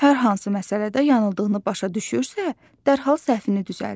Hər hansı məsələdə yanıldığını başa düşürsə, dərhal səhvini düzəldir.